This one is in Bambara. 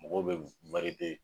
Mɔgɔw be